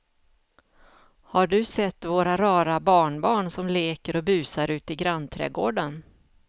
Har du sett våra rara barnbarn som leker och busar ute i grannträdgården!